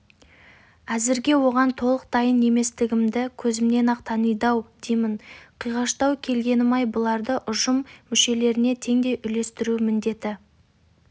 әзірге оған толық дайын еместігімді көзімнен-ақ таниды-ау деймін қиғаштау келгенім-ай бұларды ұжым мүшелеріне теңдей үлестіру міндеті